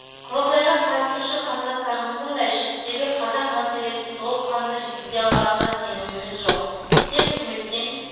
құрылтайға қатысушы қандастарымыздың да шеттегі қазақ мәселесін толыққанды жеткізе аларына да сеніміміз жоқ тек үкіметтен